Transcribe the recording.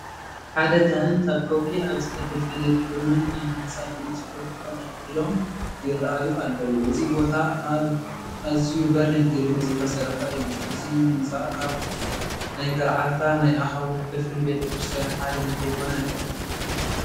ሓደ ካህን ካብ ከውሒ ኣብ ዝተፈልፈለ ግርመኛ ህንፃ ብመስኮት ተቐልቂሎም ይርአዩ ኣለዉ፡፡ እዚ ቦታ ኣብ ኣዝዩ በሪኽ ግድሚ ዝተሰርሐ እዩ፡፡ እዚ ህንፃ ካብ ናይ ገረዓልታ ናይ ኣኻውሕ ፍልፍል ቤተ ክርስቲያን ሓደ እንተይኮነ ኣይተርፍን፡፡